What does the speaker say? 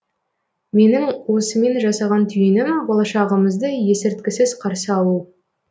менің осымен жасаған түйінім болашағымызды есірткісіз қарсы алу